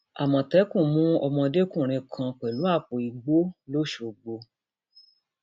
àmọtẹkùn mú ọmọdékùnrin kan pẹlú àpò ìgbọlọṣọgbó